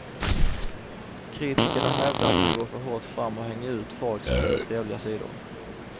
Kritikerna hävdar att han går för hårt fram och hänger ut folks mindre trevliga sidor.